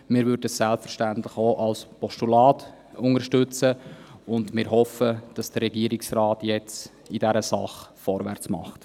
Wir würden sie selbstverständlich auch als Postulat unterstützen, und wir hoffen, dass der Regierungsrat jetzt in dieser Sache vorwärts macht.